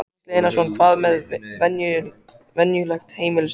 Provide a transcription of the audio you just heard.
Gísli Einarsson: Hvað með venjulegt heimilissorp?